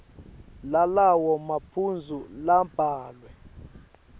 lalawo maphuzu labhalwe